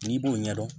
N'i b'o ɲɛdɔn